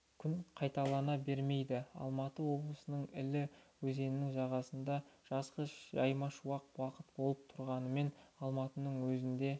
күн қайталана бермейді алматы облысының іле өзенінің жағасында жазғы жаймашуақ уақыт болып тұрғанымен алматының өзінде